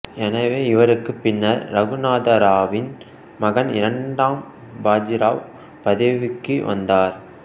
எனவே இவருக்குப் பின்னர் இரகுநாதராவின் மகன் இரண்டாம் பாஜி ராவ் பதவிக்கு வந்தார்